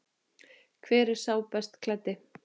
Hver er sá best klæddi?